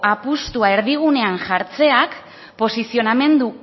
apustua erdigunean jartzeak posizionamendu